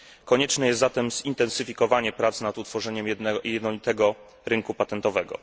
Konieczne jest zatem zintensyfikowanie prac nad utworzeniem jednolitego rynku patentowego.